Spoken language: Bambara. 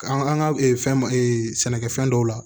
An an ka fɛn ma sɛnɛkɛfɛn dɔw la